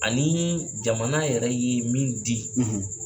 Ani jamana yɛrɛ ye min di.